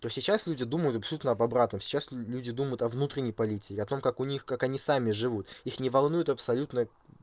то сейчас люди думают абсолютно об обратном сейчас люди думают о внутренней политике о том как у них как они сами живут их не волнует абсолютно